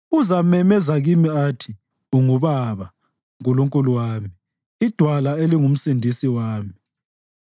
Uzamemeza kimi athi, ‘UnguBaba, Nkulunkulu wami, iDwala elinguMsindisi wami.’